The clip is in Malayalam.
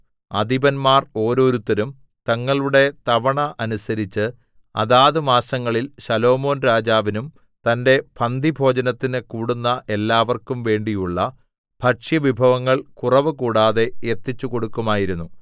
അധിപന്മാർ ഓരോരുത്തരും തങ്ങളുടെ തവണ അനുസരിച്ച് അതാത് മാസങ്ങളിൽ ശലോമോൻരാജാവിനും തന്റെ പന്തിഭോജനത്തിന് കൂടുന്ന എല്ലാവർക്കും വേണ്ടിയുള്ള ഭക്ഷ്യവിഭവങ്ങൾ കുറവു കൂടാതെ എത്തിച്ചുകൊടുക്കുമായിരിന്നു